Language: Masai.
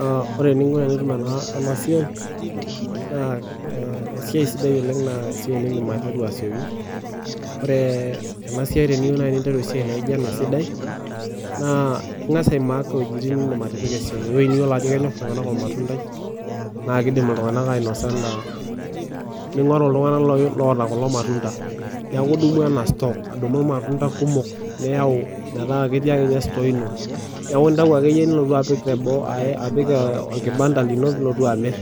Aa ore eninko tenitum ena siaai naa esiaai sidai oleng naa esiaai nindin aiteru mapema asioki, ore ena siaai teniyieu naaji ena siaai esidai naa ing'as aimaak ewuejitin nindim atipika esiaai ewueji niyiolo ajo kisidai kenyor iltung'ana olmatundai ningoru iltung'ana oota kulo matunda ningoru stocks kumok metaa ketii ake ninye sitoo ino, neeku nitayu Ake niyau enkibanda ino nilotu amirr